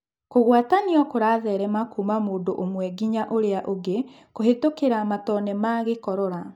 Kũgwatanĩo kũratherema kuuma mũndũ ũmwe nginya ũrĩa ũngĩ kũhetũkĩra matone ma gĩkorora.